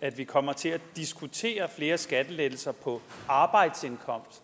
at vi kommer til at diskutere flere skattelettelser på arbejdsindkomst